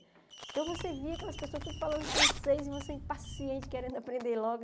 Então, você via aquelas pessoas tudo falando francês e você impaciente, querendo aprender logo.